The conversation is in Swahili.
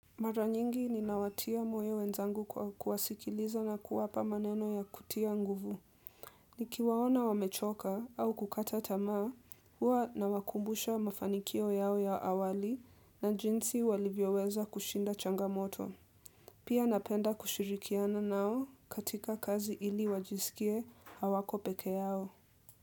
Mara nyingi ninawatia moyo wenzangu kwa kuwasikiliza na kuwapa maneno ya kutia nguvu. Nikiwaona wamechoka au kukata tamaa, hua nawakumbusha mafanikio yao ya awali na jinsi walivyoweza kushinda changamoto. Pia napenda kushirikiana nao katika kazi ili wajisikie hawako peke yao.